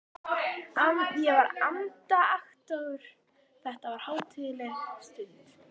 Ég var andaktugur, þetta var hátíðleg stund.